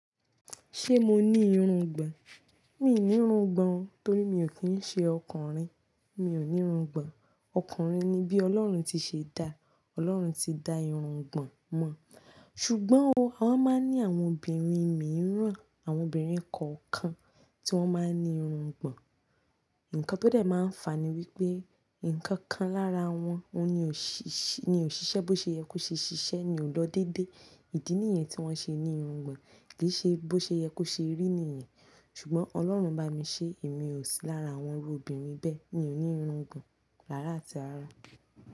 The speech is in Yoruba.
Ṣé mo ní irungbọ̀n? Mi ò ní irungbọ̀n torí mi ò kí ń ṣe ọkùnrin. Mi ò ní irungbọ̀n. Ọkùnrin ni bí Ọlọ́run ti ṣe dá. Ọlọ́run ti dá irungbọ̀n mọ̀. Ṣùgbọ́n o, a máa ń ní àwọn obìnrin mìíràn, àwọn obìnrin kọ̀ọ̀kan tí wọ́n máa ń ní irungbọ̀n. Ǹkan tó dẹ̀ máa ń fa ni wípé ǹkan kan lára wọn ni ò ṣiṣẹ́ bó ṣe yẹ kó ṣe ṣiṣẹ́ ni ò lọ dédé. Ìdí nìyẹn tí wọ́n ṣe ní irungbọ̀n, kì í ṣe bó ṣe yẹ kó ṣe rí nìyẹn. Ṣùgbọ́n Ọlọ́run bá mi ṣe èmi ò sí lára àwọn obìnrin bẹ́ẹ̀. Mi ò ní irungbọ̀n rára àti ara.